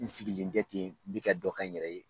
N sigilen tɛ ten n bi ka dɔ kɛ n yɛrɛ ye